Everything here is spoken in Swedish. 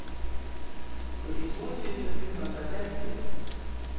sjuttiotvå tusen sjuhundrafemtio